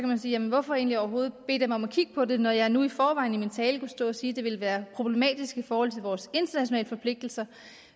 man sige jamen hvorfor egentlig overhovedet bede dem om at kigge på det når jeg nu i forvejen i min tale kunne stå og sige at det ville være problematisk i forhold til vores internationale forpligtelser